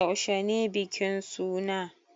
Yaushe ne bikin suna?